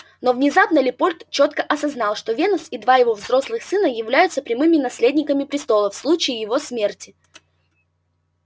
но внезапно лепольд чётко осознал что венус и два его взрослых сына являются прямыми наследниками престола в случае его смерти